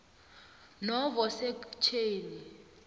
novo sekhtjheni